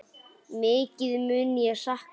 Mikið mun ég sakna þín.